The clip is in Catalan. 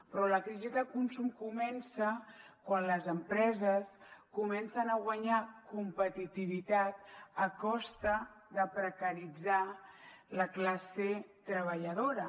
però la crisi de consum comença quan les empreses comencen a guanyar competitivitat a costa de precaritzar la classe treballadora